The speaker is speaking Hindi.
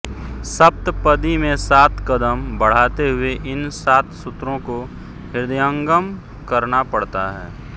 सप्तपदी में सात कदम बढ़ाते हुए इन सात सूत्रों को हृदयंगम करना पड़ता है